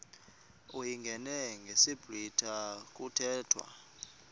uyingene ngesiblwitha kuthethwa